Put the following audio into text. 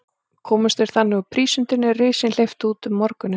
Komust þeir þannig úr prísundinni, er risinn hleypti út um morguninn.